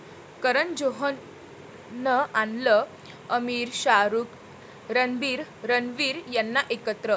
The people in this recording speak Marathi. करण जोहरनं आणलं आमिर, शाहरुख, रणबीर, रणवीर यांना एकत्र